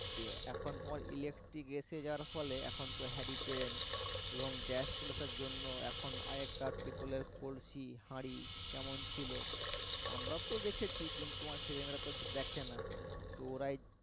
এখন তোমার electric এসে যাওয়ার ফলে এখন তো hurricane এবং gas চলে আসার জন্য এখন আগেকার পেতলের কলসি হাড়ি কেমন ছিল আমরা তো দেখেছি কিন্তু আমার ছেলেমেয়েরা তো দেখে না তো ওরাই